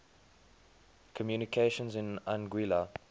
communications in anguilla